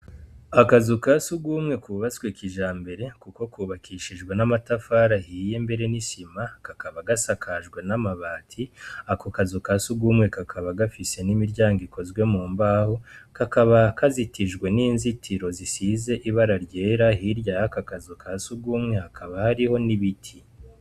Akazu ka sugumwe kubatswe kijambere kuko kubakishijwe n'amatafari ahiye mbere n'isima, kakaba gasakajwe n'amabati, ako kazu ka sugumwe kakaba gafise n'imiryango ikozwe mu mbaho, kakaba kazitijwe n'inzitiro zisize ibara ryera, hirya yaka kazu ka sugumwe hakaba hariho n'ibiti.